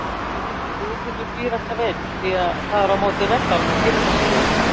Friðfinnur býr alltaf einn, því það er á móti reglunum að gifta sig hér.